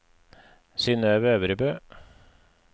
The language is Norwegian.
Synøve Øvrebø